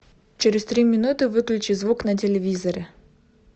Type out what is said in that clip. через три минуты выключи звук на телевизоре